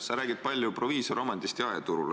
Sa räägid palju proviisoromandist jaeturul.